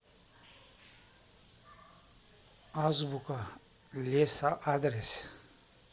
азбука леса адрес